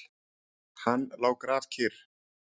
Hann lá grafkyrr.